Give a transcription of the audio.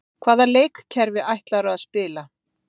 Hvaða leikkerfi ætlarðu að spila?